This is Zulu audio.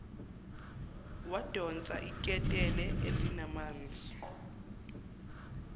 wadonsa iketela elinamanzi